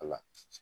Wala